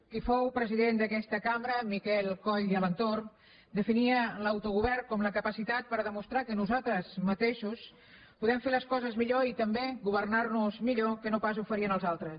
qui fou president d’aquesta cambra miquel coll i alentorn definia l’autogovern com la capacitat per demostrar que nosaltres mateixos podem fer les coses millor i també governar nos millor que no pas ho farien els altres